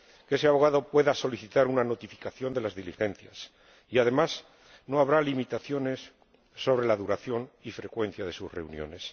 ese abogado podrá solicitar una notificación de las diligencias y, además, no habrá limitaciones sobre la duración y frecuencia de sus reuniones.